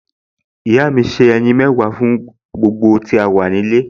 Ìyá mi se ẹyin mẹ́wàá fún gbogbo tí a wà nílé